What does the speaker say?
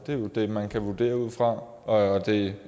det er jo det man kan vurdere ud fra og det